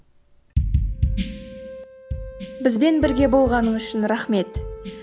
бізбен бірге болғаныңыз үшін рахмет